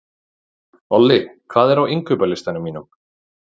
Olli, hvað er á innkaupalistanum mínum?